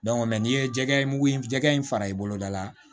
n'i ye jɛgɛ mugu in jɛgɛ in fara i boloda la